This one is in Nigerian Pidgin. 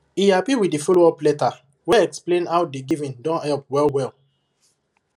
he happy with the followup letter wey explain how the giving don help well well